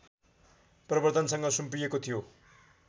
प्रबर्द्धनसँग सुम्पिएको थियो